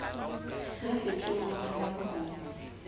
ya kgethuweng wa manyalo ho